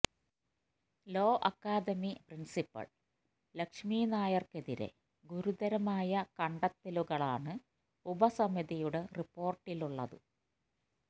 law academy principal Lakshmi നായര്ക്കെതിരെ ഗുരുതരമായ കണ്ടെത്തലുകളാണ് ഉപസമിതിയുടെ റിപ്പോര്ട്ടിലുള്ളത്